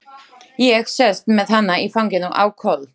Ég sest með hana í fanginu á koll.